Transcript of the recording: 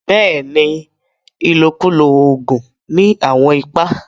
Bẹ́ẹ̀ni, ilọ̀kúlọ̀ oogun ni awọn ìpà.